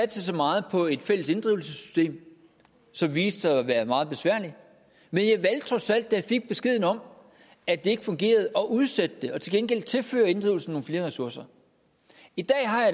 så meget på et fælles inddrivelsessystem som viste sig at være meget besværligt men jeg valgte trods alt da jeg fik beskeden om at det ikke fungerede at udsætte det og til gengæld tilføre inddrivelsen nogle flere ressourcer i dag har jeg